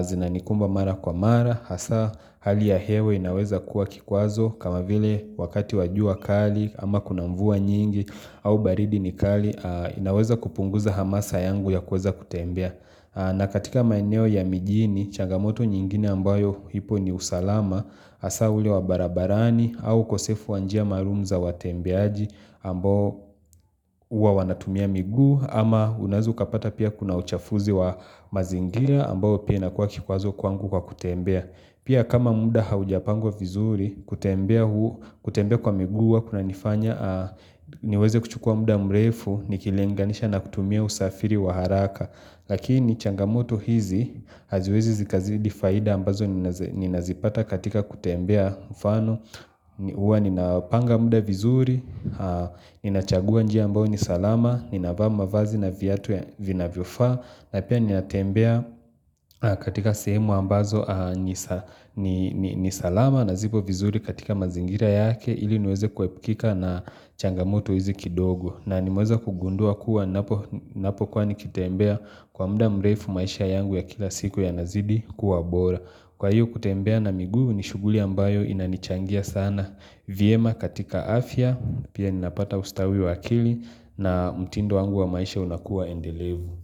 zinanikumba mara kwa mara hasa hali ya hewa inaweza kuwa kikwazo kama vile wakati wa jua kali ama kuna mvua nyingi au baridi ni kali inaweza kupunguza hamasa yangu ya kuweza kutembea. Na katika maeneo ya mijini, changamoto nyingine ambayo ipo ni usalama, hasa ule wa barabarani au ukosefu wanjia maalum za watembeaji ambayo huwa wanatumia miguu ama unaeza kapata pia kuna uchafuzi wa mazingira ambayo pia inakuwa kikwazo kwangu kwa kutembea Pia kama muda haujapangwa vizuri kutembea kwa miguu huwa kuna nifanya niweze kuchukua muda mrefu nikilinganisha na kutumia usafiri wa haraka Lakini changamoto hizi haziwezi zikazidi faida ambazo ninazipata katika kutembea mfano Huwa ninapanga muda vizuri, ninachagua njia ambao nisalama, ninavaa mavazi na vyatu ya vinavyofaa na pia ninatembea katika sehemu ambazo ni salama na zipo vizuri katika mazingira yake ili niweze kuepukika na changamoto hizi kidogo na nimeweza kugundua kuwa napo kuwa nikitembea kwa muda mrefu maisha yangu ya kila siku yanazidi kuwa bora Kwa hiyo kutembea na miguu ni shuguli ambayo inanichangia sana vyema katika afya pia ninapata ustawi wa akili na mtindo wangu wa maisha unakuwa endelevu.